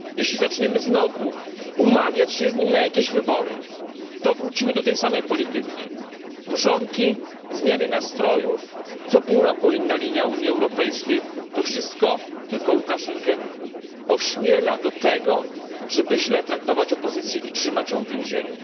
Jeśli zaczniemy znowu umawiać się z nim na jakieś wybory, to wrócimy do tej samej polityki mrzonki, zmiany nastrojów, co pół roku inna linia Unii Europejskiej to wszystko tylko Łukaszenkę ośmiela do tego, żeby źle traktować opozycję i trzymać ją w więzieniu.